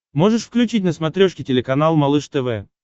можешь включить на смотрешке телеканал малыш тв